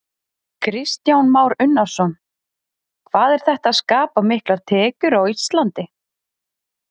Kristján Már Unnarsson: Hvað er þetta að skapa miklar tekjur á Íslandi?